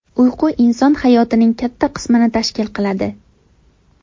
Uyqu inson hayotining katta qismini tashkil qiladi.